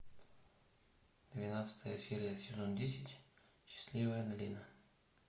двенадцатая серия сезон десять счастливая долина